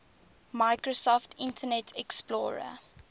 microsoft internet explorer